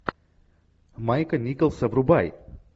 майка николса врубай